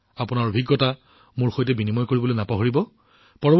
আপোনালোকৰ অভিজ্ঞতাবোৰ মোৰ সৈতে ভাগবতৰা কৰিবলৈ নাপাহৰিব